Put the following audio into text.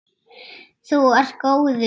Þú ert góður!